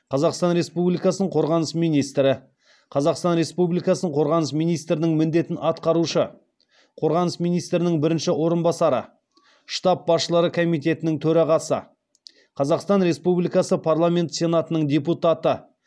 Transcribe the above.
қазақстан республикасының қорғаныс министрі қазақстан республикасының қорғаныс министрінің міндетін атқарушы қорғаныс министрінің бірінші орынбасары штаб басшылары комитетінің төрағасы қазақстан республикасы парламенті сенатының депутаты